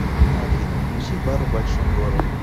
афина включи бар в большом городе